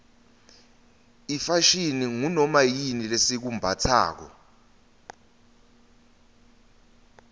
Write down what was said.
ifashini ngunoma yini lesikumbatsako